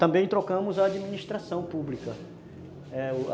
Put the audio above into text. Também trocamos a administração pública